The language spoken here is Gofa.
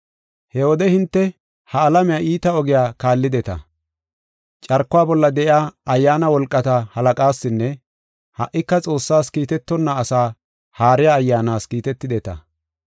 He wode hinte ha alamiya iita ogiya kaallideta. Carkuwa bolla de7iya ayyaana wolqata halaqaasinne ha77ika Xoossaas kiitetonna asaa haariya ayyaanas kiitetideta.